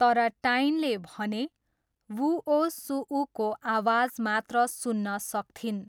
तर टाइनले भने व्हुओसुऊको आवाज मात्र सुन्न सक्थिन्।